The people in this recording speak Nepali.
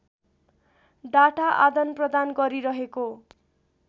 डाटा आदानप्रदान गरिरहेको